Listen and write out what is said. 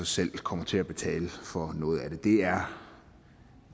selv kommer til at betale for noget af det det er